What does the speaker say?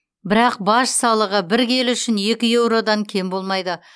бірақ баж салығы бір келі үшін екі еуродан кем болмайды